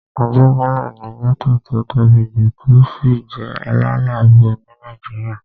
Ajégúnlè ni gẹ́ẹ́tò tó tóbi jù tó sì jẹ́ aláìláàbò ní Nàìjíríyà